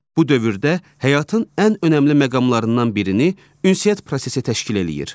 Bu dövrdə həyatın ən önəmli məqamlarından birini ünsiyyət prosesi təşkil eləyir.